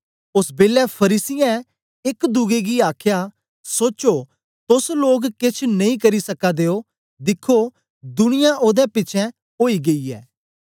ओस बेलै फरीसियें एक दुए गी आखया सोचो तोस लोक केछ नेई करी सका दे ओ दिखो दुनिया ओदे पिछें ओई गेई ऐ